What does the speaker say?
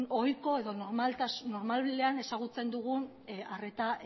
ohiko edo normaltasunean ezagutzen dugun arreta